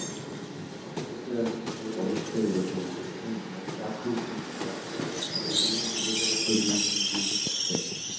বাংলাদেশে এখন ভাই অবস্থাই এরকম বুঝছেন, মানে চাকরির খুব অভাব এই গুলোই তো বেকারত্ব দিন দিন বৃদ্ধি পাচ্ছে।